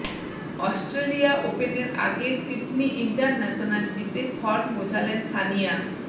Australia ওপেনের আগে Sydney international জিতে ফর্ম বোঝালেন সানিয়া